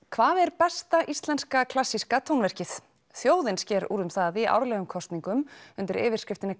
hvað er besta íslenska klassíska tónverkið þjóðin sker úr um það í árlegum kosningum undir yfirskriftinni